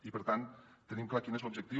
i per tant tenim clar quin és l’objectiu